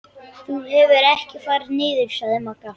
Þú hefur ekkert farið niður, sagði Magga.